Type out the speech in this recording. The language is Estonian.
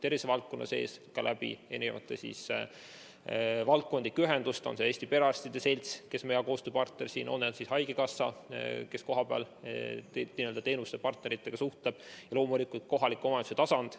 Tervishoiuvaldkonna sees ka mitmesuguste valdkondlike ühenduste kaudu, olgu see Eesti Perearstide Selts, kes on meie hea koostööpartner, olgu see haigekassa, kes kohapeal n-ö teenuste partneritega suhtleb, ja loomulikult kohaliku omavalitsuse tasand.